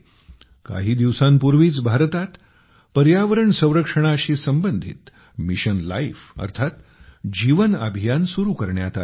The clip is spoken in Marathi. काही दिवसांपूर्वीच भारतात पर्यावरण संरक्षणाशी संबंधित मिशन लाईफ अर्थात जीवन अभियान सुरु करण्यात आले आहे